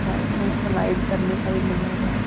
Side में slide करने का भी बना हुआ है।